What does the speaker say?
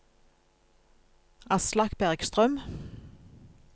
Aslak Bergstrøm